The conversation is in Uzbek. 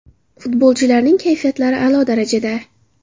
Futbolchilarning kayfiyatlari a’lo darajada.